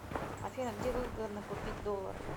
афина где выгодно купить доллары